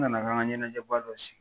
U nana kan ka ɲɛnajɛba dɔ sigi